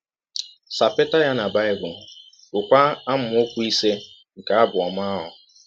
Sapeta ya na Bible, gụọkwa amaọkwu ise nke abụ ọma ahụ.